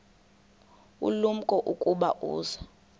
ulumko ukuba uza